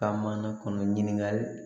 Ka mana kɔnɔ ɲininkali